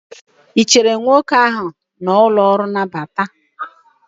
ị chere nwoke ahụ n'ụlọ ọrụ nnabata?